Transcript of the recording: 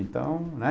Então, né?